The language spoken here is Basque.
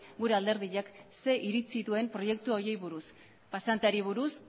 gure alderdiak zein iritzi duen proiektu horiei buruz pasanteari buruz